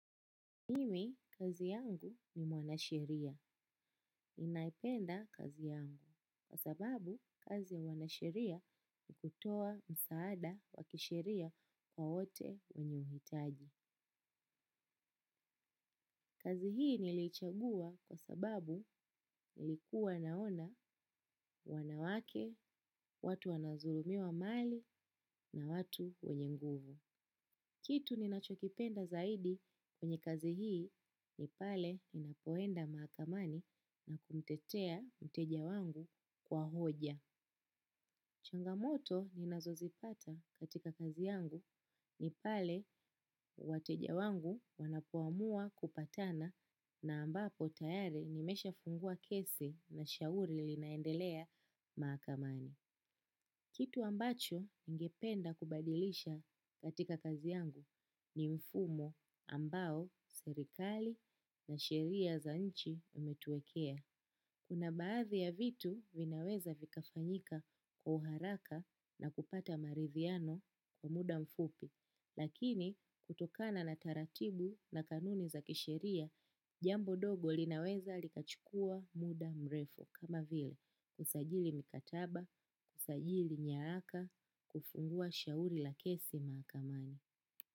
Mimi, kazi yangu ni mwanasheria. Ninaipenda kazi yangu. Kwa sababu kazi ya mwanasheria ni kutoa msaada wa kisheria kwa wote wenye uhitaji. Kazi hii nilichagua kwa sababu nilikuwa naona wanawake na watu wanadhulumiwa mali na watu wenye nguvu. Kitu ninachokipenda zaidi kwenye kazi hii ni pale ninapoenda mahakamani na kumtetea mteja wangu kwa hoja. Changamoto ninazozipata katika kazi yangu ni pale wateja wangu wanapoamua kupatana na ambapo tayari nimeshafungua kesi na shauri linaendelea mahakamani. Kitu ambacho ningependa kubadilisha katika kazi yangu ni mfumo ambao serikali na sheria za nchi zimetuwekea. Kuna baadhi ya vitu vinaweza kufanyika kwa haraka na kupata maridhiano kwa muda mfupi. Lakini kutokana na taratibu na kanuni za kisheria, jambo dogo linaweza likachukua muda mrefu. Kama vile kusajili mikataba, kusajili nyaraka, kufungua shauri la kesi mahakamani.